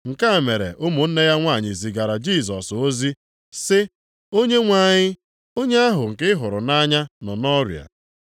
Nke a mere ụmụnne ya nwanyị zigara Jisọs ozi sị, “Onyenwe anyị, onye ahụ nke ị hụrụ nʼanya nọ nʼọrịa.”